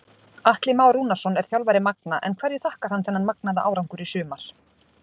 Atli Már Rúnarsson er þjálfari Magna en hverju þakkar hann þennan magnaða árangur í sumar?